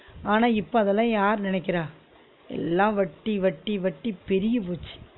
ஆனா இப்ப அதலா யாரு நினக்கிறா எல்லா வட்டி வட்டி வட்டி பெருகி போச்சு